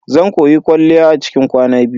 Zan koyi kwalliya a cikin kwana biyu.